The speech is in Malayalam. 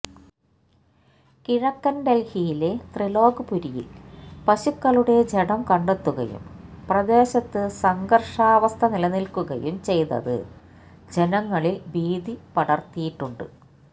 കിഴക്കന് ഡല്ഹിയിലെ ത്രിലോക്പുരിയില് പശുക്കളുടെ ജഡം കണ്ടെത്തുകയും പ്രദേശത്ത് സംഘര്ഷാവസ്ഥനിലനില്ക്കുകയും ചെയ്തത് ജനങ്ങളില് ഭീതിപടര്ത്തിയിട്ടുണ്ട്